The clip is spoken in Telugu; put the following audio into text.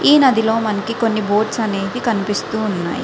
ఈ నదిలో మనకి కాని బోట్స్ అనేవి కనిపిస్తూ ఉన్నాయి.